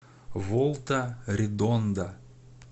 волта редонда